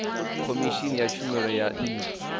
khomishini ya tshumelo ya nnyi